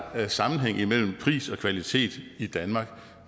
sammenhæng imellem pris og kvalitet i danmark